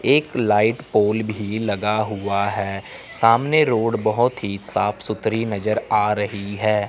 एक light pole भी लगा हुआ है सामने रोड बहुत ही साफ सुथरी नजर आ रही है।